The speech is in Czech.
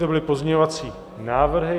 To byly pozměňovací návrhy.